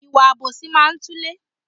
Ìwà àbòsí máa ń túlé